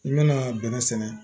I bɛna bɛnɛ sɛnɛ